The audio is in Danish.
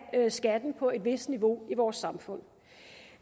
skatten på et vist niveau i vores samfund